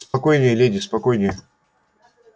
спокойнее леди спокойнее